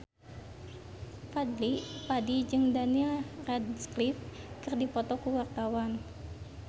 Fadly Padi jeung Daniel Radcliffe keur dipoto ku wartawan